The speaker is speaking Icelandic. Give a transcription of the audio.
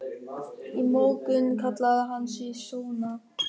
Í morgun kallaði hann sig Sónar.